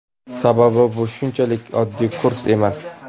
Sababi bu shunchalik oddiy kurs emas.